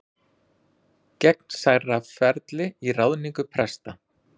Gegnsærra ferli í ráðningu presta